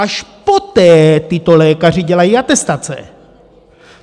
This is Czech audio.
Až poté tito lékaři dělají atestace.